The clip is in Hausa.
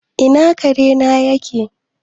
Ina kare na yake?